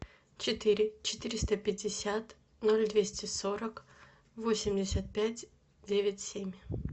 четыре четыреста пятьдесят ноль двести сорок восемьдесят пять девять семь